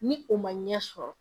Ni o ma ɲɛ sɔrɔ